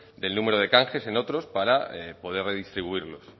del número de canjes en otros para poder redistribuirlos